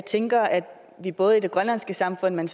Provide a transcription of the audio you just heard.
tænker at vi både i det grønlandske samfund men